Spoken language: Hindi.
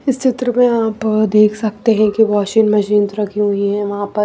इस चित्र में आप देख सकते हैं कि वाशिंग मशीन्स रखी हुई हैं वहाँ पर।